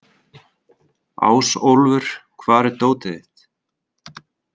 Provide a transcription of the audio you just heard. Ásólfur, hvar er dótið mitt?